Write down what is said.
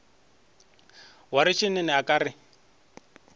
wa retšene a ka re